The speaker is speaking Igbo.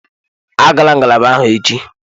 Agala ngalaba ahụ echi!